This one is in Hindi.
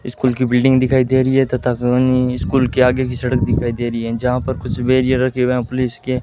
स्कूल की बिल्डिंग दिखाई दे री है तथा उन स्कूल के आगे की सड़क दिखाई दे री है जहां पर कुछ बैरियर रखे हुए है पुलिस के।